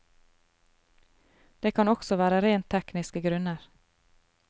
Det kan også være rent tekniske grunner.